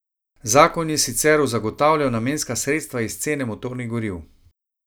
Zakon je sicer zagotavljal namenska sredstva iz cene motornih goriv.